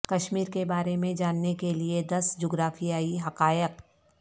کشمیر کے بارے میں جاننے کے لئے دس جغرافیایی حقائق